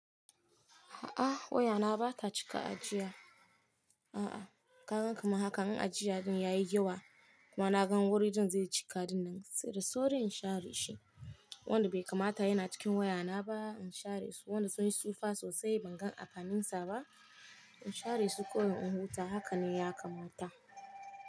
A'a wayana bata cika ajiya. A'a ka gan kamar hakan in ajiya din yayi yawa kuma na gan wuri din zai cika dinnan. Sai da sauri in share shi. Wanda bai kamata yana cikin wayana ba in share su. Wanda sun yi tsufa sosai ban gan amfanin sa ba in share su ko in huta. Haka ne ya kamata.